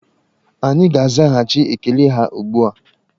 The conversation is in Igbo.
Anyị ga-azaghachị ekele ha ugbu a.